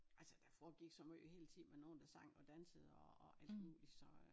Altså der foregik så måj hele tiden med nogen der sang og dansede og og alt muligt så øh